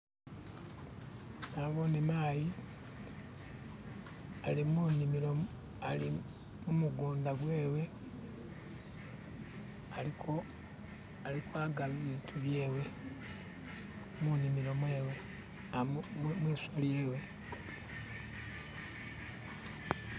Nabbone mayi , ali munimilo ali mumugunda gwewe, ali ko ali kwaga biitu byewe , munimilo yewe, amwi mwiskhu mwewe.